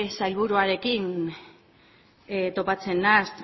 sailburuarekin topatzen naiz